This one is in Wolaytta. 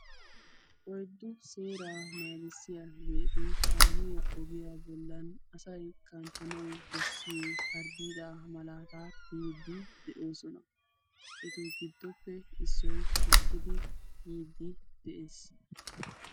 oyddu seera naagissiyaageeti kaamiyaa ogiya bollan asay kanttanaw bessiyo harddiida malaata tiyyidi de'oosona. etu giddoppe issoy uttidi yiidi de'ees.